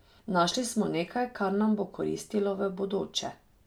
Našli smo nekaj, kar nam bo koristilo v bodoče.